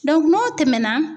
n'o tɛmɛna